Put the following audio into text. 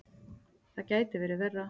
Það gæti verið verra.